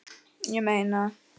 Ég meina.